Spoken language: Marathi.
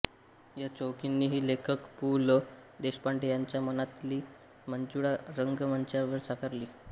या चौघींनीही लेखक पु ल देशपांडे यांच्या मनातली मंजुळा रंगमंचावर साकारली